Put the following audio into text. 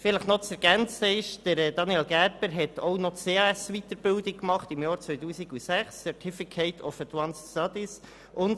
Daniel Gerber hat im Jahr 2006 auch noch die CAS-Weiterbildung gemacht und mit einem Certificate of Advanced Studies abgeschlossen.